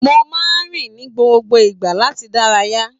Mo máa n rìn ni gbogbo ìgbà láti dárayá.